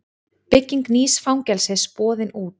Bygging nýs fangelsis boðin út